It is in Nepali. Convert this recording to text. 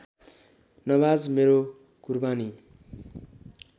नमाज मेरो कुरबानी